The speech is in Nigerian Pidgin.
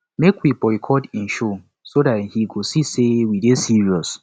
make we boycott im show so dat he go see say we dey serious